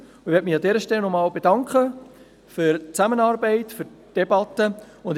Ich möchte mich an dieser Stelle nochmals für die Zusammenarbeit und für die Debatte bedanken.